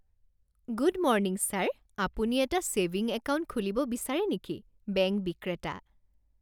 Good morning sir! আপুনি এটা saving account খুলিব বিচাৰে নেকি? বেংক বিক্ৰেতা